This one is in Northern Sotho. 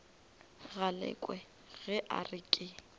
galekwe ge a re ke